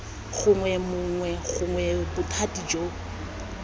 gongwe mongwe gongwe bothati jo